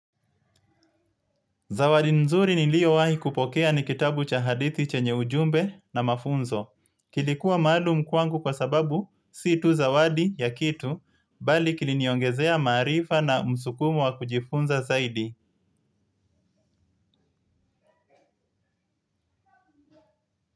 Zawadi nzuri niliyowahi kupokea ni kitabu cha hadithi chenye ujumbe na mafunzo. Kilikuwa maalum kwangu kwa sababu, si tu zawadi ya kitu, bali kiliniongezea maarifa na msukumo wa kujifunza zaidi.